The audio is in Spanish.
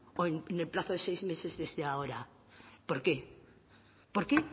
o en el plazo de seis meses desde ahora por qué por qué